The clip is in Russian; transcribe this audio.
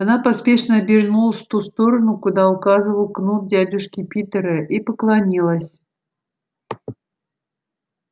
она поспешно обернулась в ту сторону куда указывал кнут дядюшки питера и поклонилась